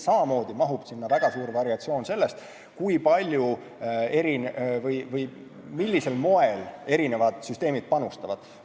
Samamoodi mahub sinna väga suur variatsioon sellest, millisel moel erinevad süsteemid panustavad.